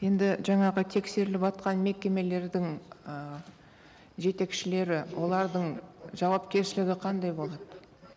енді жаңағы тексеріліватқан мекемелердің ы жетекшілері олардың жауапкершілігі қандай болады